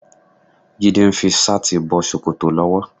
Jídé ń fi ṣáàtì bọ ṣòkòtò lọ́wọ́.